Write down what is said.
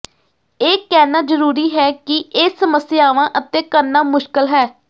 ਇਹ ਕਹਿਣਾ ਜ਼ਰੂਰੀ ਹੈ ਕਿ ਇਹ ਸਮੱਸਿਆਵਾਂ ਅਤੇ ਕਰਨਾ ਮੁਸ਼ਕਲ ਹੈ